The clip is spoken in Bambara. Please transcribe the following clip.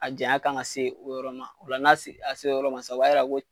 A janya kan ka se o yɔrɔ ma ola n'a se a se la o yɔrɔ ma sisan o b'a yira ko